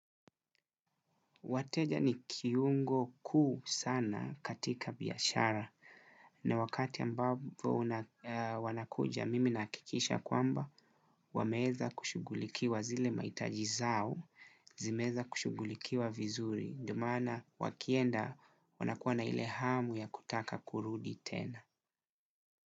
Wateja ni kiungo kuu sana katika biashara na wakati ambavo wanakuja mimi nahakikisha kwamba wameeza kushughulikiwa zile maitaji zao zimeeza kushughulikiwa vizuri ndo mana wakienda wanakuwa na ile hamu ya kutaka kurudi tena.